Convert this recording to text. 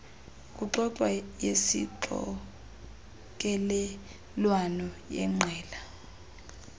kuxoxwa yesixokelelwano yeqela